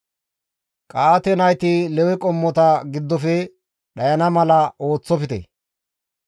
«Qa7aate nayti Lewe qommota giddofe dhayana mala ooththofte.